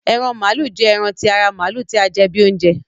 Eran malu jẹ ẹran ti ara Maalu ti a jẹ bi ounjẹ